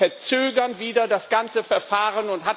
Die verzögern wieder das ganze Verfahren.